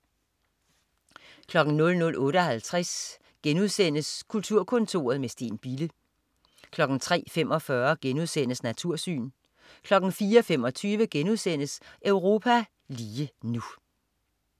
00.58 Kulturkontoret med Steen Bille* 03.45 Natursyn* 04.25 Europa lige nu*